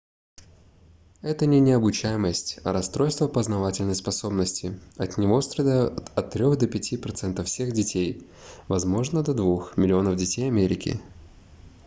это не необучаемость а расстройство познавательной способности от него страдают от трех до пяти процентов всех детей возможно до двух миллионов детей америки